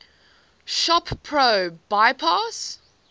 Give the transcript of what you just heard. shop pro bypass